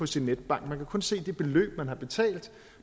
sin netbank man kan kun se det beløb man har betalt